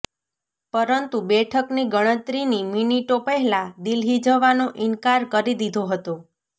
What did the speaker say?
પરંતુ બેઠકની ગણતરીની મિનિટો પહેલા દિલ્હી જવાનો ઈનકાર કરી દીધો હતો